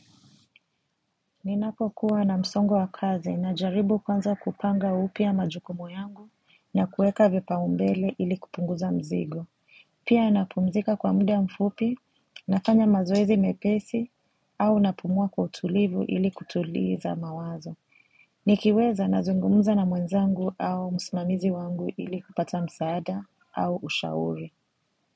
Ninapokuwa na msongo wa kazi najaribu kwanza kupanga upya majukumu yangu na kuweka vipaumbele ili kupunguza mzigo. Pia napumzika kwa muda mfupi, nafanya mazoezi mepesi au napumua kwa utulivu ili kutuliza mawazo. Nikiweza nazungumuza na mwenzangu au msimamizi wangu ili kupata msaada au ushauri.